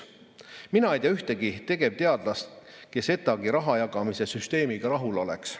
Mina ei tea ühtegi tegevteadlast, kes ETAg-i raha jagamise süsteemiga rahul oleks.